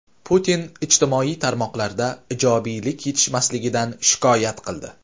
Putin ijtimoiy tarmoqlarda ijobiylik yetishmasligidan shikoyat qildi.